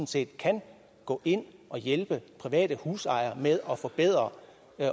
set kan gå ind og hjælpe private husejere med at forbedre